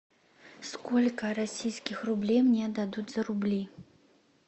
сколько российских рублей мне дадут за рубли